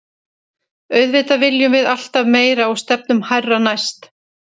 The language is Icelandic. Auðvitað viljum við alltaf meira og stefnum hærra næst.